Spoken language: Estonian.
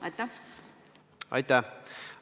Aitäh!